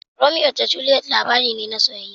Romeo da Juliet labari ne na soyayya.